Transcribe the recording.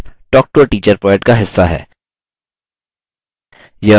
spoken tutorial project talktoa teacher project का हिस्सा है